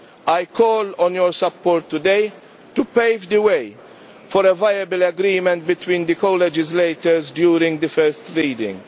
I call on your support today to pave the way for a viable agreement between the co legislators during the first reading.